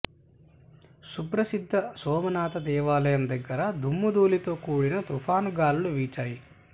సుప్రసిద్ధ సోమనాథ దేవాలయం దగ్గర దుమ్ముధూళితో కూడిన తుఫాను గాలులు వీచాయి